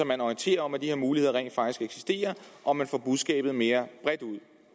man orienterer om at de her muligheder rent faktisk eksisterer og man får budskabet lidt mere bredt ud